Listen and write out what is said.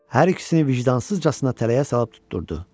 Hər ikisini vicdansızcasına tələyə salıb tutdurdu.